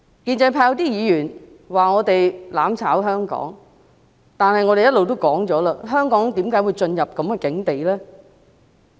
建制派有些議員說我們"攬炒"香港，但是我們一直說，香港為何會進入如斯境地？